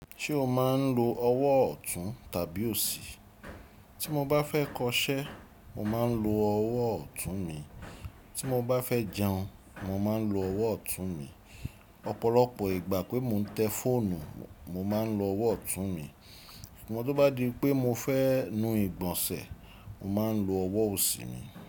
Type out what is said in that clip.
Ṣé o máa ń lo ọwọ́ ọ̀tún tàbí òsì? Tí mo bá fẹ́ kọṣẹ́, mo máa ń lo ọwọ́ ọ̀tún mi. Tí mo bá fẹ́ jẹun, mo máa ń lo ọwọ́ ọ̀tún mi. Ọ̀pọ̀lọpọ̀ ìgbà pé mo ń tẹ fóònù, mo máa ń lo ọwọ́ ọ̀tún mi. Ṣùgbọ́n tí ó bá di pé mo fẹ́ nu ìgbọ̀nsẹ̀, mo máa ń lo ọwọ́ òsì mi.